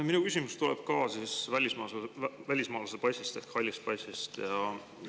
Minu küsimus tuleb ka välismaalase passi ehk halli passi kohta.